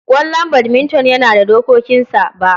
Ƙwallon badminton yana da dokokinsa. Ba